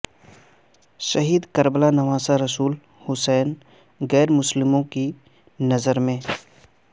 شہید کربلا نواسہ رسول حسین غیر مسلموں کی نظر میں